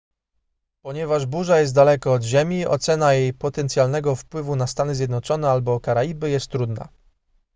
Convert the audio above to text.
ponieważ burza jest daleko od ziemi ocena jej potencjalnego wpływu na stany zjednoczone albo karaiby jest trudna